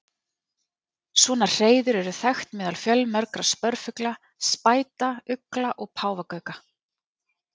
Svona hreiður eru þekkt meðal fjölmargra spörfugla, spæta, ugla og páfagauka.